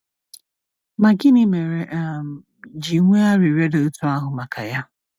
Ma gịnị mere um ji nwee arịrịọ dị otú ahụ maka ya?